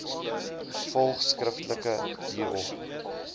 volg skriftelik hierop